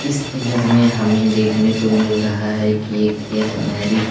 इस इमेज में हमें देखने को मिल रहा है कि एक यह मैरीज --